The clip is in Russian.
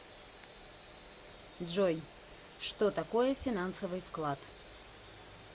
джой что такое финансовый вклад